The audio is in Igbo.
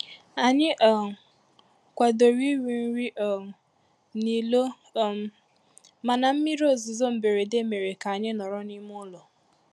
Ànyị um kwadoro iri nri um n'ilo um mana mmiri ozuzo mberede mere ka anyị nọrọ n’ime ụlọ